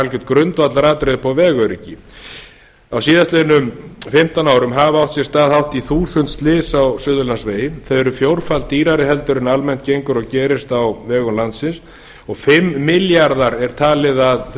algert grundvallaratriði upp á vegöryggi á síðastliðin fimmtán árum hafa átt sér stað hátt í þúsund slys á suðurlandsvegi þau eru fjórfalt dýrari heldur en almennt gengur og gerist á vegum landsins og fimm milljarðar er talið að þau